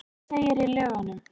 Svo segir í lögunum.